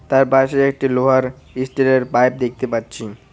তার পাশে একটি লোহার ইস্টিল -এর পাইপ দেখতে পাচ্চি।